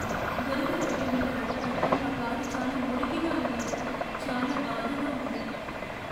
బురద రోడ్ల మీద నడిపాక నా కారు చాలా మురికిగా అయినందుకు చాలా బాధగా ఉంది.